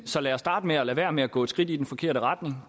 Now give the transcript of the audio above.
så lad os starte med at lade være med at gå et skridt i den forkerte retning